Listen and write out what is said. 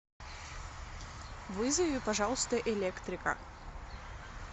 вызови пожалуйста электрика